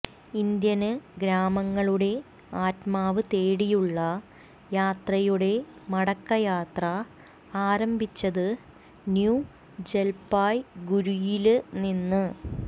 Indian ഗ്രാമങ്ങളുടെ ആത്മാവ് തേടിയുള്ള യാത്രയുടെ മടക്കയാത്ര ആരംഭിച്ചത് ന്യൂ ജല്പായ്ഗുരിയില്നിന്ന്